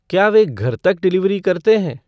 क्या वें घर तक डिलीवरी करते हैं